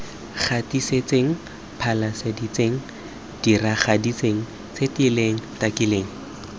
gatisitseng phasaladitseng diragaditseng setileng takileng